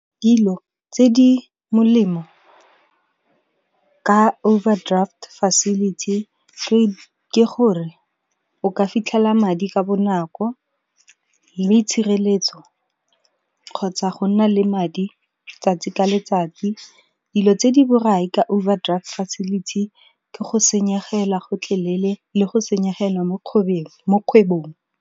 Dilo tse di molemo, ka overdraft facility ke gore o ka fitlhela madi ka bonako, le itshireletso kgotsa go nna le madi tsatsi ka letsatsi. Dilo tse di borai ka overdraft facility ke go senyegela gotlhelele le go senyegelwa mo kgwebong.